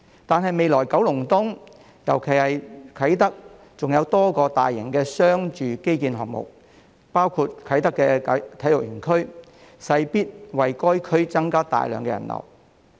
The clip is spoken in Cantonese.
然而，未來九龍東——尤其是啟德——還有多個大型商住基建項目，包括啟德體育園區，勢必為該區增加大量人流。